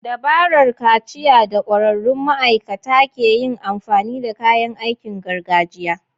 Dabarar kaciya da ƙwararrun ma'aikata ke yin amfani da kayan aikin gargajiya.